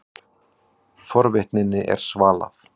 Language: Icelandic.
Forvitninni var svalað.